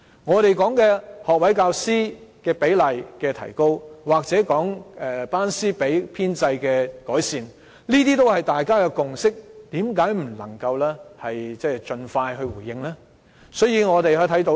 我們曾提出提高學位教師的比例，又或改善班師比的編制，這些也是大家有共識的，為何政府不能盡快回應我們的訴求呢？